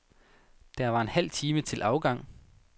Der var en halv time til afgang.